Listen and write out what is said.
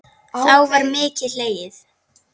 Þá var mikið hlegið.